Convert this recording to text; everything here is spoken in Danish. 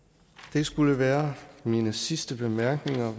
det skulle være mine sidste bemærkninger